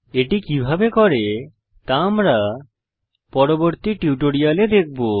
এটি কিভাবে করে তা আমরা পরবর্তী টিউটোরিয়ালে দেখব